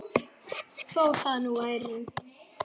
Þó það nú væri.